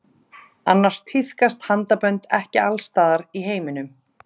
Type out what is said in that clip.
Annars tíðkast handabönd ekki alls staðar í heiminum.